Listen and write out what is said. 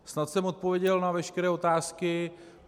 Snad jsem odpověděl na veškeré otázky.